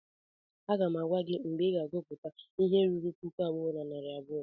Aga m agwa gị mgbe ị ga-agụta ihe ruru puku abụọ na narị abụọ!